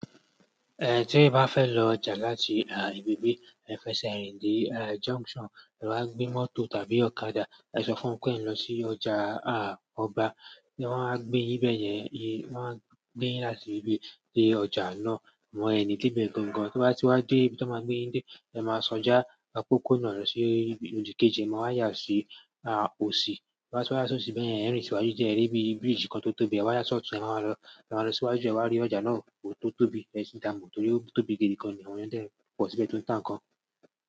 Eh tí ẹ bá fẹ́ lọ ọjà láti ibi bí Ifẹ̀sẹ̀rín dé e Junction, e wa gbé mọ́tò tàbí ọ̀kadà ẹ sọ fún pé e ǹ lọ sí ọjà a ọba. Wọn máa gbé yín bẹ́yẹn, wọ́n máa gbé yín láti ibi dé ọjà náà, wọ́n ẹni tí bẹ̀ gangan. Tí wọ́n bá ti wá dé ibi tí wọ́n maa gbé yín dé, ẹ máa ṣọjá a pópónà lọ sí ibi odò kejì, ẹ máa wá yà sí a òsì. Tí wọ́n bá ti wá ṣun síbẹ̀ yẹn, ẹ̀rín sìwájú jẹ́ ẹ rí bí bridge kan tó tóbi, ẹ wá yà sọ́ọ̀tù, ẹ máa lọ, ẹ máa lọ síwájú, ẹ wa rí ọjà náà tó tóbi, ẹ sì dáàbò torí ó tóbi gidi gan ni àwọn yẹn dẹ̀ pọ̀ síbẹ̀ tó ń tà nǹkan.